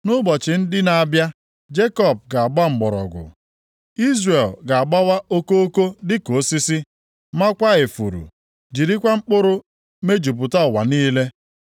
Nʼụbọchị ndị na-abịa, Jekọb ga-agba mgbọrọgwụ. Izrel ga-agbawa okoko dịka osisi, maakwa ifuru, jirikwa mkpụrụ mejupụta ụwa niile.